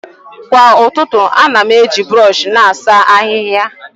Kwa ụtụtụ, ana m eji brọsh na-asa ahịhịa.